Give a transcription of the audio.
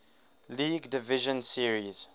league division series